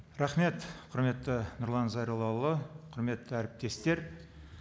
рахмет құрметті нұрлан зайроллаұлы құрметті әріптестер